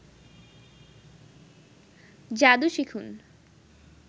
যাদু শিখুন